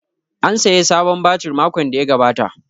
An saya sabon batir makon da ya gabata